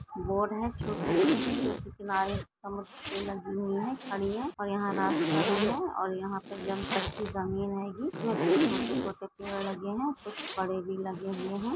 Boat है छोटी छोटी जो की किनारे समुद्र के लगी हुई है खड़ी है और यहाँ रास्ता भी है और यहाँ पर जम तक की ज़मीन हेगी इसमे कुछ छोटे छोटे पेड़ लगे हैं कुछ बड़े भी लगे हुए हैं।